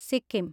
Sikkim